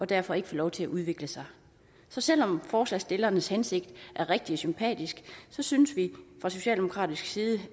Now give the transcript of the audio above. derfor ikke får lov til at udvikle sig så selv om forslagsstillernes hensigt er rigtig sympatisk synes vi fra socialdemokratisk side